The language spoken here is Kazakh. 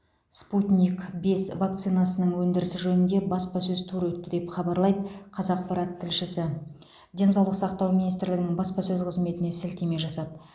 спутник бес вакцинасының өндірісі жөнінде баспасөз туры өтті деп хабарлайды қазақпарат тілшісі денсаулық сақтау министрлігінің баспасөз қызметіне сілтеме жасап